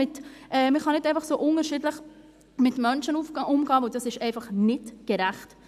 Man kann nicht so unterschiedlich mit Menschen umgehen, denn dies ist einfach nicht gerecht.